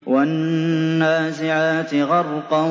وَالنَّازِعَاتِ غَرْقًا